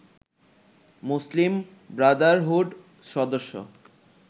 মুসলিম Brotherhood সদস্য